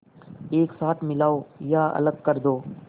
एक साथ मिलाओ या अलग कर दो